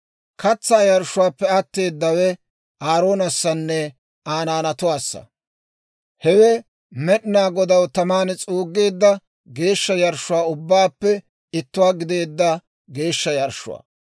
Katsaa yarshshuwaappe atteedawe Aaroonessanne Aa naanatuwaassa. Hewe Med'inaa Godaw taman s'uuggeedda, geeshsha yarshshuwaa ubbaappe ittuwaa gideedda geeshsha yarshshuwaa.